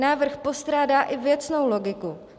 Návrh postrádá i věcnou logiku.